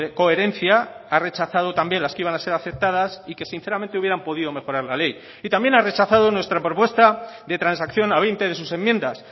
coherencia ha rechazado también las que iban a ser aceptadas y que sinceramente hubieran podido mejorar la ley y también ha rechazado nuestra propuesta de transacción a veinte de sus enmiendas